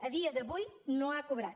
a dia d’avui no ha cobrat